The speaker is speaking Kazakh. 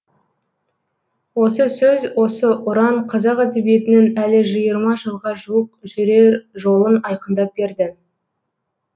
осы сөз осы ұран қазақ әдебиетінің әлі жиырма жылға жуық жүрер жолын айқындап берді